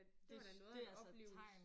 Det det altså et tegn